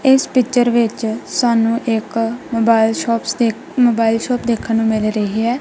ਇਸ ਪਿੱਚਰ ਵਿੱਚ ਸਾਨੂੰ ਇੱਕ ਮੋਬਾਈਲ ਸ਼ੌਪਸ ਦੇਖ ਮੋਬਾਈਲ ਸ਼ੌਪ ਦੇਖਣ ਨੂੰ ਮਿਲ ਰਹੀ ਹੈ।